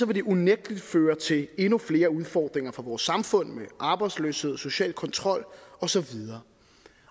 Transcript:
det unægtelig føre til endnu flere udfordringer for vores samfund med arbejdsløshed social kontrol og så videre